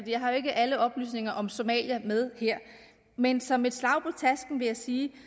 jeg har jo ikke alle oplysninger om somalia med her men som et slag på tasken vil jeg sige